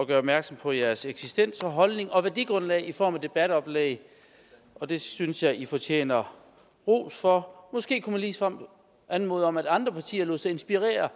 at gøre opmærksom på jeres eksistens og holdning og værdigrundlag i form af debatoplæg og det synes jeg i fortjener ros for måske kunne man ligesom anmode om at andre partier lod sig inspirere